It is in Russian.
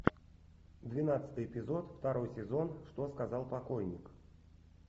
двенадцатый эпизод второй сезон что сказал покойник